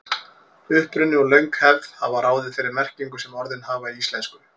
Uppruni og löng hefð hafa ráðið þeirri merkingu sem orðin hafa í íslensku.